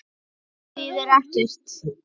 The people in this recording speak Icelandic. En það þýðir ekkert.